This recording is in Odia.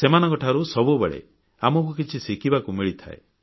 ସେମାନଙ୍କଠାରୁ ସବୁବେଳେ ଆମକୁ କିଛି ଶିଖିବାକୁ ମିଳିପାରେ